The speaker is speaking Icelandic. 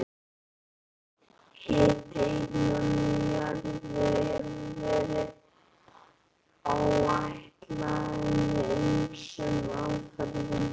Hiti innan í jörðinni hefur verið áætlaður með ýmsum aðferðum.